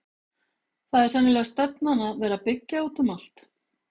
Það er sennilega stefnan að vera byggja út um allt?